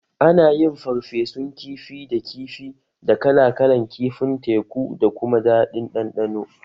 Ana yin farfesun kifi da kifi da kala kalan kifin teku da kuma daɗin ɗanɗano